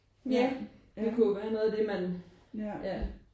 Ja det kunne jo være noget af det man ja